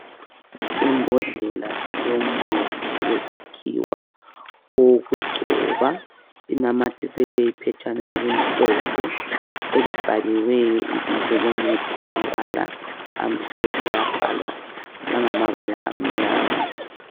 Imbodlela yomuthi wesikhiwa owokugcoba inamathiselwe iphetshana elimhlophe elibhaliweyo ibizo lomuthi ngamabala amhlophe labhalwa langamabala amnyama.